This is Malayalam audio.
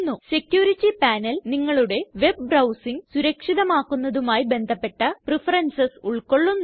സെക്യൂരിറ്റി പനേൽ നിങ്ങളുടെ വെബ് ബ്രൌസിംഗ് സുരക്ഷിതമാക്കുന്നതുമായി ബന്ധപ്പെട്ട പ്രഫറൻസസ് ഉൾകൊള്ളുന്നു